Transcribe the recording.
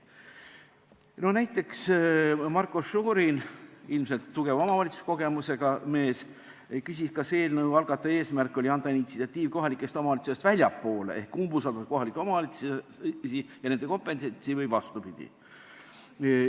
Näiteks, Marko Šorin, ilmselt tugeva omavalitsuskogemusega mees, küsis, kas eelnõu algataja eesmärk oli anda initsiatiiv kohalikest omavalitsustest väljapoole ehk umbusaldada kohalikke omavalitsusi ja nende kompetentsi või vastupidi.